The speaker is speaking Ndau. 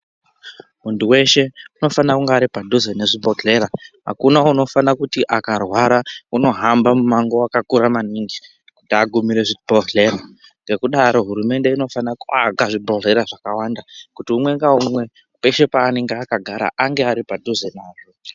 Muntu weshe unofana kunge ari padhuze nezvibhodhleya akuna unofana kuti akarwara unohamba mumango wakakura maningi kuti agumire zvibhodhleya ngekudaro hurumende inofana kuaka zvibhodhleya zvakawanda kuti umwe ngaumwe peshe paanenge akagara ange ari padhuze nazvo.